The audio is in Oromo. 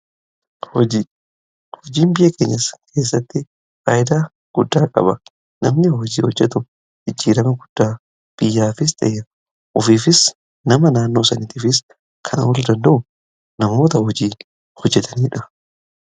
Hojiin biyya keenyaa keessatti faayidaa guddaa qaba. Namni hojii hojjetu ijjiirama guddaa biyyaafis ta'ee ofiifis nama naannoo saniitiifis kana wal danda'u namoota hojii hojjetaniidha.